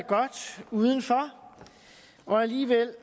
er godt udenfor og alligevel